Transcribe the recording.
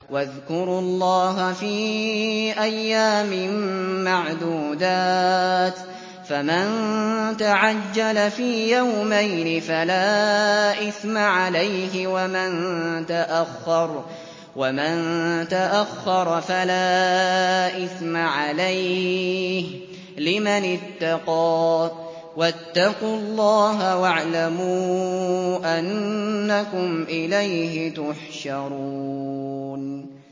۞ وَاذْكُرُوا اللَّهَ فِي أَيَّامٍ مَّعْدُودَاتٍ ۚ فَمَن تَعَجَّلَ فِي يَوْمَيْنِ فَلَا إِثْمَ عَلَيْهِ وَمَن تَأَخَّرَ فَلَا إِثْمَ عَلَيْهِ ۚ لِمَنِ اتَّقَىٰ ۗ وَاتَّقُوا اللَّهَ وَاعْلَمُوا أَنَّكُمْ إِلَيْهِ تُحْشَرُونَ